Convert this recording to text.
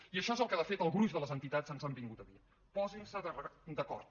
i això és el que de fet el gruix de les entitats ens han vingut a dir posin se d’acord